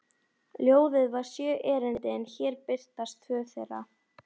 Ljóðið var sjö erindi en hér birtast tvö þeirra